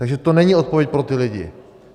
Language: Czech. Takže to není odpověď pro ty lidi.